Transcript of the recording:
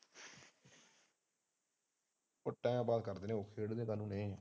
ਉਹ time pass ਕਰਦੇ ਨੇ ਖੇਡ ਦੇ ਕਾਨੋ ਨੇ।